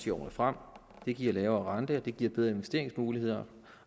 i årene frem det giver lavere rente og det giver bedre investeringsmuligheder